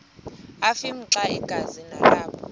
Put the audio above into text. afimxa igazi nalapho